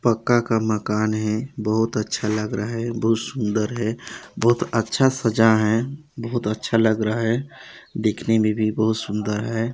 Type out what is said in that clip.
पक्का का मकान है बहुत अच्छा लग रहा है बहुत सुन्दर है बहुत अच्छा सजाये है बहुत अच्छा लग रहा है दिखने मे भी बहुत सुन्दर है।